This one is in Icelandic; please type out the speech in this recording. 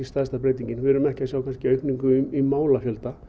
stærsta breytingin við erum ekki að sjá aukningu í málafjölda